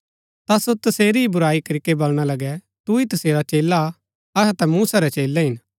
ता सो तसेरी ही बुराई करीके बलणा लगै तू ही तसेरा चेला हा अहै ता मूसा रै चेलै हिन